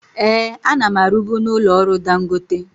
Ee, ana m arubu na ụlọ ọrụ Dangote.